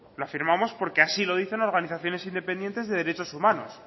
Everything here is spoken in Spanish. lo afirmamos porque así lo dicen organizaciones independientes de derechos humanos